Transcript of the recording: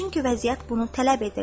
Çünki vəziyyət bunu tələb edirdi.